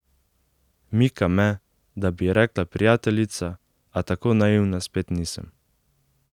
Mika me, da bi ji rekla prijateljica, a tako naivna spet nisem.